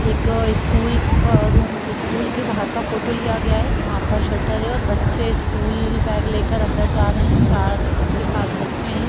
एक स्कूल ब room school के बाहर का फोटो लिया गया है जहाँ पर शटर है और बच्चे स्कूल बैग लेकर अंदर जा रहे हैं चार से पांच बच्चे हैं ।